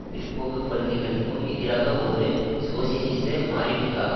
பிற்போக்கு கொள்கைகளுக்கும் எதிராக ஒரு சோசியலிச மாறீட்டுக்காக